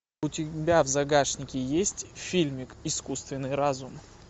у тебя в загашнике есть фильмик искусственный разум